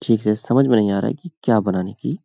ठीक से समझ में नहीं आ रहा है की क्या बनाने की --